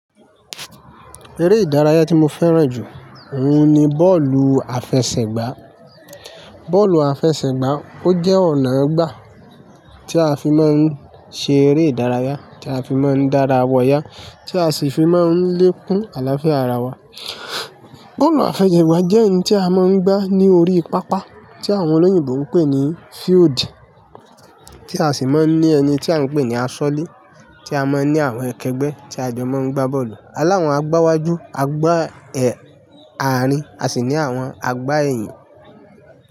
Eré ìdárayá tí mo fẹ́ràn jù, òun ni bọ́ọ̀lù àfẹsẹ̀gbá. Bọ́ọ̀lù àfẹsẹ̀gbá, ó jẹ́ ọ̀nà gbà tí a fi máa ń ṣe eré ìdárayá, tí a fi máa ń dára wọyá, tí a sì fi máa ń lékún àlàáfíà ara wa. Bọ́ọ̀lù àfẹsẹ̀gbá jẹ́ òun tí a máa ń gbá ní orí pápá tí àwọn olóyìnbo ń pè ní field tí a sì máa ń ní ẹni tí à ń pè ní asọlé, tí a máa ń ní àwọn kẹgbẹ́ tí a jọ máa ń gbá bọ́ọ̀lù. Aláwọ̀n àgbáwájú, àgbá àárín, a sì ní àwọn àgbá èyìn.